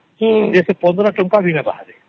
ସେଗା ତ fifteen ଟଙ୍କା ବି ନାଇଁ ହବ